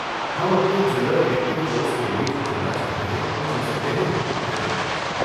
ہم اپنے general elective course کے لیے جو چننا چاہتے ہیں وہ چن سکتے ہیں، ہے ناں؟